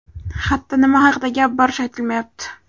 Xatda nima haqda gap borishi aytilmayapti.